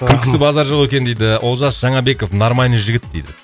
күлкісі базар жоқ екен дейді олжас жаңабеков нормальный жігіт дейді